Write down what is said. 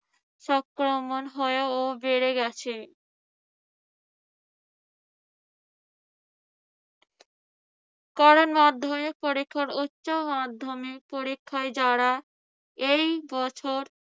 সংক্রমণ হয়েও বেড়ে গেছে। কারণ মাধ্যমিক পরীক্ষার উচ্যমাধ্যমিক পরক্ষায় যারা এই বছর